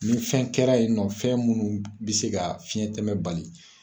Ni fɛn kɛra yen nɔ , fɛn munnu be se ka fiɲɛn tɛmɛ bali